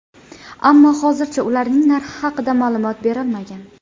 Ammo hozircha ularning narxi haqida ma’lumot berilmagan.